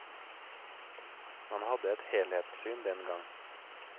Man hadde et helhetssyn den gang.